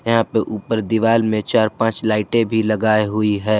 यहाँ पे ऊपर दीवाल में चार पांच लाइटे भी लगाई हुई है।